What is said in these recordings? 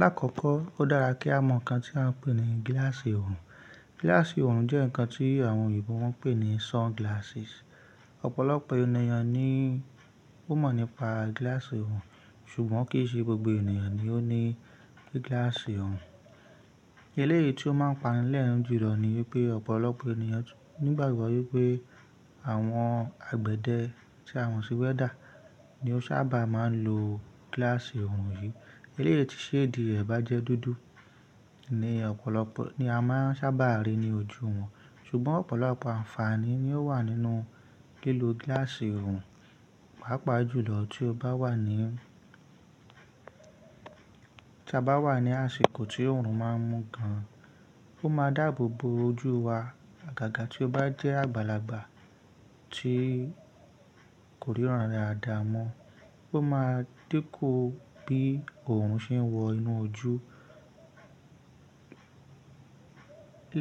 Lákòókò ó dára kí a mọ̀ nǹkan tí à ń pè ní gíláàsì ọrùn. Gíláàsì ọrùn jẹ́ nǹkan tí àwọn Yorùbá ń pè ní sunglasses. Ọ̀pọ̀lọpọ̀ ènìyàn ni ó mọ̀ nípa gíláàsì ọrùn ṣùgbọ́n kìí ṣe gbogbo ènìyàn ni ó ní gíláàsì ọrùn. Eléyìí tí ó máa ń pani lẹ́ẹ̀rín jùlọ ni wípé ọ̀pọ̀lọpọ̀ ènìyàn nígbàgbọ́ wípé àwọn àgbẹ̀dẹ tí àmọ sí wẹ́dà ni ó sábà máa ń lo gíláàsì ọrùn yìí. Eléyìí tí ṣéèdì rẹ̀ bá jẹ́ dúdú ni ọ̀pọ̀lọpọ̀, ni a máa sábà rí ní ojú wọn. Ṣùgbọ́n ọ̀pọ̀lọpọ̀ àǹfààní ni ó wà nínú lílo gíláàsì ọrùn, pàápàá jùlọ tí o bá wà ní, tí a bá wà ní àsìkò tí ọrùn máa ń mú gan an. Ó máa dáàbò bo ojú wa. Àgàgà tí ó bá jẹ́ àgbàlagbà tí kò ríran daadáa mọ́, ó máa din ku bí ọrùn ṣe ń wọ inú ojú.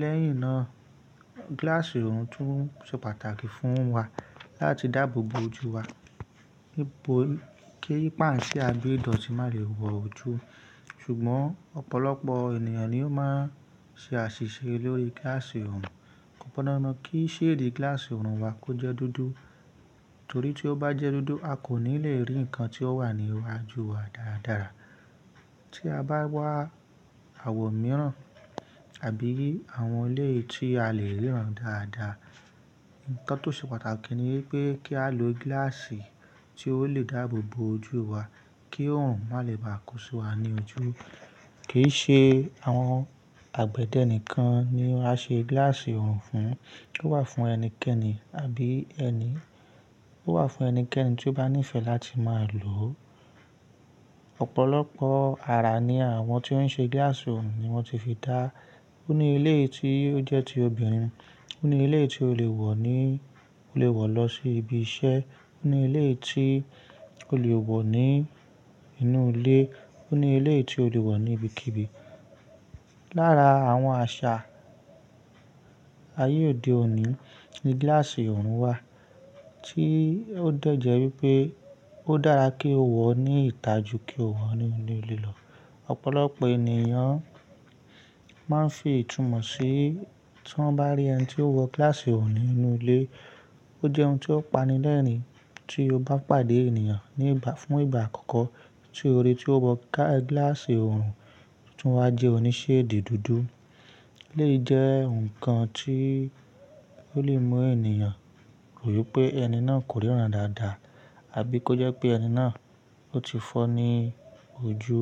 Lẹ́yìn náà, gíláàsì ọrùn tún ṣe pàtàkì fún wa láti dáàbò bo ojú wa. Kí i páǹṣẹ́ a gbẹ́ dọ̀tí má lè wọ̀ ojú. Ṣùgbọ́n ọ̀pọ̀lọpọ̀ ènìyàn ni ó máa ṣe àṣìṣe lórí gíláàsì ọrùn. Ko pọndandan kí ṣéèdì gíláàsì ọrùn wa kó jẹ́ dúdú torí tí ó bá jẹ́ dúdú a kò ní lè rí ǹkan tí ó wà ní iwájú wa dáradára. Tí a bá wá àwọ̀ mìíràn tàbí i àwọn eléyìí tí a lè ríran dáadáa. Ǹkan tó ṣe pàtàkì ni wípé kí á lo gíláàsì tí ó lè dáàbòbo ojú wa kí ọrùn má lè bà á kó si wa ní ojú. Kì í ṣe àwọn àgbẹ̀dẹ nìkan ni a ṣe gíláàsì ọrùn fún, ó wà fún ẹnikẹ́ni àbí ẹni, ó wà fún ẹnikẹ́ni tí ó bá níìfẹ̀ láti máa lò ó. Ọ̀pọ̀lọpọ̀ ara ni àwọn tí ó ń ṣe gíláàsì ọrùn ni wọ́n ti fi dáá. Ó ní eléyìí tí ó jẹ́ ti obìnrin, ó ní eléyìí tí o lè wọ̀ ní, o lè wọ̀ lọ sí ibi iṣẹ́, ó ní eléyìí tí o lè wọ̀ ní inú ilé, ó ní eléyìí tí o lè wọ̀ ní ibikíbi. Lára àwọn àṣà ayé òde òní ni gíláàsì ọrùn wà tí ó dẹ̀ jẹ́ wípé ó dára kí o wọ̀ ní ìta jù kí o wọ̀ ní inú ilé lọ. Ọ̀pọ̀lọpọ̀ ènìyàn máa ń fi ìtumọ̀ sí, tí wọ́n bá rí ẹni tí ó wọ gíláàsì ọrùn nínú ilé, ó jẹ́ ohun tí ó pani lẹ́ẹ̀rín. Tí o bá pàdé ènìyàn fún ìgbà àkọ́kọ́ tí o ríi tí ó wọ gíláàsì ọrùn tó tún wá jẹ́ oní ṣéèdì dúdú eleyii jẹ́ ǹkan tí ó lè mú ènìyàn rò wípé ẹni náà kò ríran dáadáa àbí kó jẹ́ pé ẹni náà ó ti fọ́ ní ojú.